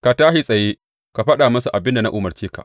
Ka tashi tsaye ka faɗa musu abin da na umarce ka.